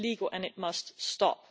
this is illegal and it must stop.